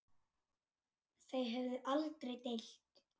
Þau höfðu aldrei deilt.